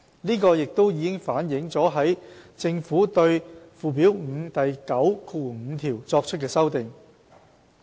這已反映在政府對附表5第95條作出的修訂。